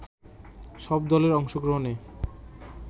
সব দলের অংশগ্রহণে